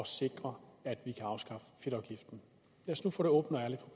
sikre at vi kan afskaffe fedtafgiften